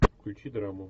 включи драму